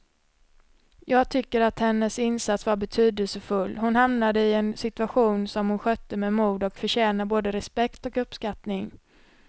Jag tycker att hennes insats var betydelsefull, hon hamnade i en situation som hon skötte med mod och förtjänar både respekt och uppskattning.